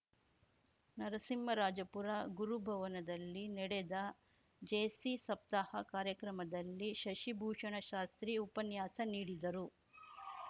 ನರಸಿಂಹರಾಜಪುರ ಗುರುಭವನದಲ್ಲಿ ನಡೆದ ಜೇಸಿ ಸಪ್ತಾಹ ಕಾರ್ಯಕ್ರಮದಲ್ಲಿ ಶಶಿಭೂಷಣ ಶಾಸ್ತ್ರಿ ಉಪನ್ಯಾಸ ನೀಡಿದರು